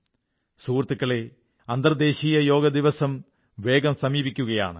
സുഹൃത്തുക്കളേ അന്തർരാഷ്ട്രീയ യോഗ ദിവസം വേഗം സമീപിക്കുകയാണ്